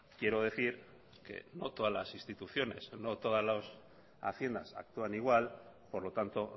quiero decir que no todas las instituciones no todas las haciendas actúan igual por lo tanto